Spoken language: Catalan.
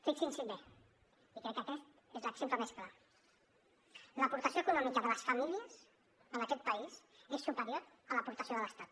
fixin s’hi bé i crec que aquest és l’exemple més clar l’aportació econòmica de les famílies en aquest país és superior a l’aportació de l’estat